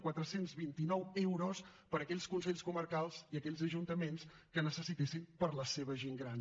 quatre cents i vint nou euros per a aquells consells comarcals i aquells ajuntaments que ho necessitessin per a la seva gent gran